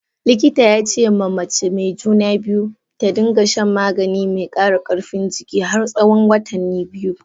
Likita ya ce ma Mace mai juna biyu, ta dinga shan magani mai kara karfin jiki har tsawon watani biyu.